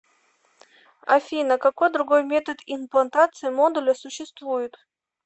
афина какой другой метод имплантации модуля существует